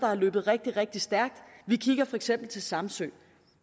har løbet rigtig rigtig stærkt vi kigger for eksempel til samsø